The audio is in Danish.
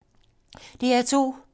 DR2